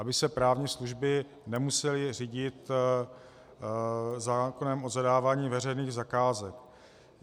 Aby se právní služby nemusely řídit zákonem o zadávání veřejných zakázek.